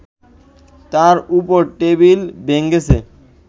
তার ওপর টেবিল ভেঙেছে